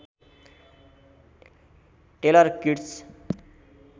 tailor Kitsch